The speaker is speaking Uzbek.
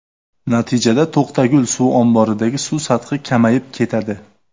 Natijada To‘qtagul suv omboridagi suv sathi kamayib ketadi.